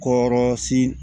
Kɔrɔsi